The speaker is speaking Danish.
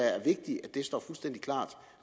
det står fuldstændig klart